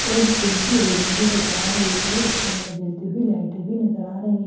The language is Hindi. और जिम की रेलिंग भी नजर आ रही है और उसके अंदर जलती हुई लाइटें भी नजर आ रही है एक --